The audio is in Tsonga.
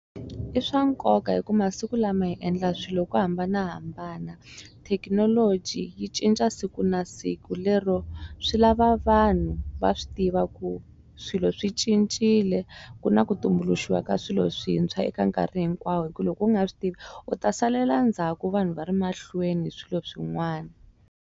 I swa nkoka hi ku masiku lama hi endla swilo hi ku hambanahambana thekinoloji yi cinca siku na siku lero swi lava vanhu va swi tiva ku swilo swi cincile ku na ku tumbuluxiwa ka swilo swintshwa eka nkarhi hinkwawo hi ku loko u nga swi tivi u ta salela ndzhaku vanhu va ri mahlweni hi swilo swin'wani.